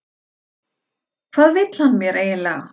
Hvað vill hann mér eiginlega?